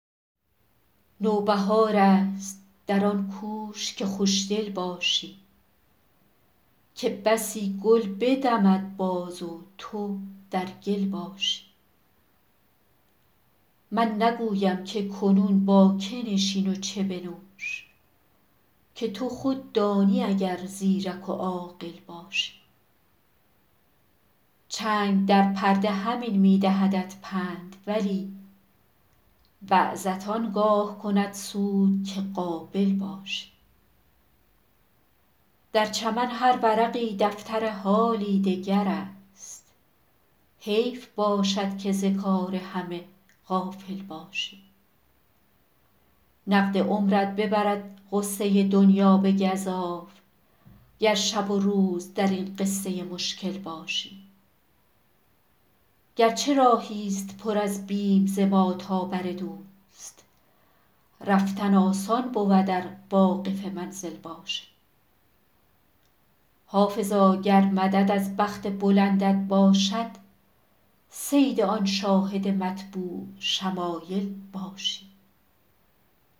نوبهار است در آن کوش که خوش دل باشی که بسی گل بدمد باز و تو در گل باشی من نگویم که کنون با که نشین و چه بنوش که تو خود دانی اگر زیرک و عاقل باشی چنگ در پرده همین می دهدت پند ولی وعظت آن گاه کند سود که قابل باشی در چمن هر ورقی دفتر حالی دگر است حیف باشد که ز کار همه غافل باشی نقد عمرت ببرد غصه دنیا به گزاف گر شب و روز در این قصه مشکل باشی گر چه راهی ست پر از بیم ز ما تا بر دوست رفتن آسان بود ار واقف منزل باشی حافظا گر مدد از بخت بلندت باشد صید آن شاهد مطبوع شمایل باشی